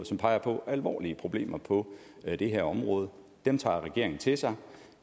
som peger på alvorlige problemer på det her område dem tager regeringen til sig